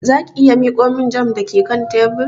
Za ki iya miƙo min jam da ke kan tebur?